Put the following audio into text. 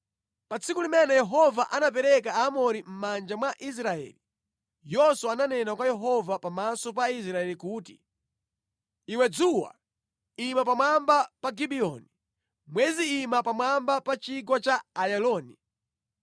Pa tsiku limene Yehova anapereka Aamori mʼmanja mwa Israeli, Yoswa ananena kwa Yehova pamaso pa Israeli kuti, “Iwe dzuwa, ima pamwamba pa Gibiyoni, mwezi ima pamwamba pa chigwa cha Ayaloni.”